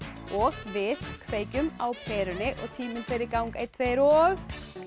og við kveikjum á perunni og tíminn fer í gang einn tveir og